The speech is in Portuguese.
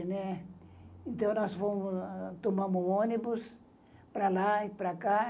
né. Então, nós tomamos ônibus para lá e para cá.